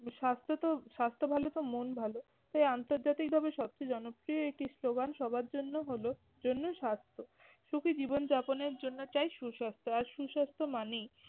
স্বাস্থ্য তো স্বাস্থ্য ভালো তো মন ভালো তাই আন্তর্জাতিকভাবে সবচেয়ে জনপ্রিয় একটি স্লোগান সবার জন্য হলো জন্য স্বাস্থ্য। সুখী জীবনযাপনের জন্য চাই সুস্বাস্থ্য আর সুস্বাস্থ্য মানেই